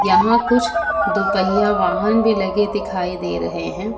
यहां कुछ दो पहिया वाहन भी लगे दिखाई दे रहे हैं।